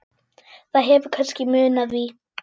Það hefur kannski munað því.